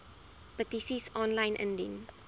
petisies aanlyn indien